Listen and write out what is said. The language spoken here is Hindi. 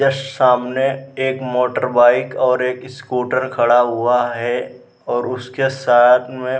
जस्ट सामने एक मोटर बाइक और एक स्कूटर खड़ा हुआ है और उसके साथ में --